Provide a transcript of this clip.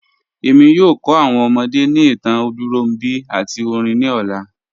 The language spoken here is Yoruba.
Ẹ̀mi yóò kọ́ awọn ọmọdé ni ìtàn Olúnrọ̀nbi àti orin ni ọlá.